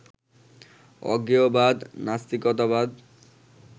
অজ্ঞেয়বাদ, নাস্তিকতাবাদ